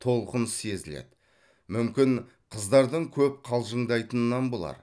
толқыныс сезіледі мүмкін қыздардың көп қалжыңдайтынан болар